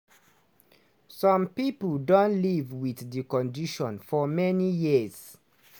some pipo don live wit di condition for many years.